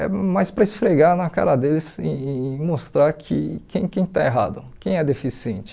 É mais para esfregar na cara deles e e e mostrar que quem quem está errado, quem é deficiente.